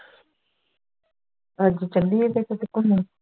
ਅੱਜ ਚੱਲੀਏ ਫੇਰ ਕਿਤੇ ਘੁੰਮਣ